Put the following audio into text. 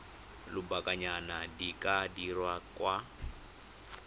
lobakanyana di ka dirwa kwa